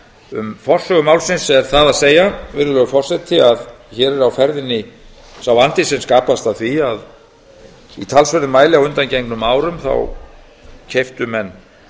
um forsögu málsins er það að segja virðulegur forseti að hér er á ferðinni sá vandi sem skapast af því að í talsverðum mæli á undangengnum árum keyptu menn